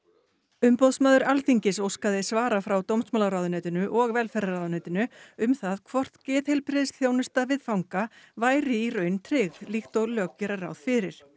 umboðsmaður Alþingis óskaði svara frá dómsmálaráðuneytinu og velferðarráðuneytinu um það hvort geðheilbrigðisþjónusta við fanga væri í raun tryggð líkt og lög gera ráð fyrir